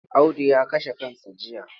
Audu ya kashe kansa jiya.